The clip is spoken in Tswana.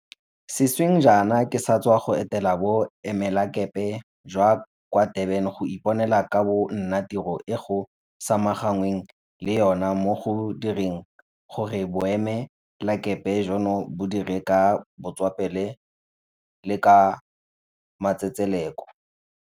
Sešweng jaana ke sa tswa go etela Bo emelakepe jwa kwa Durban go iponela ka bo nna tiro e go samaganweng le yona mo go direng gore boemelakepe jono bo dire ka botswapelo le ka matsetseleko.